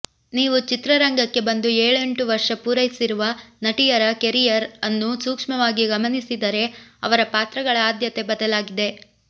ನೀವು ಚಿತ್ರರಂಗಕ್ಕೆ ಬಂದು ಏಳೆಂಟು ವರ್ಷ ಪೂರೈಸಿರುವ ನಟಿಯರ ಕೆರಿಯರ್ ಅನ್ನು ಸೂಕ್ಷ್ಮವಾಗಿ ಗಮನಿಸಿದರೆ ಅವರ ಪಾತ್ರಗಳ ಆದ್ಯತೆ ಬದಲಾಗಿದೆ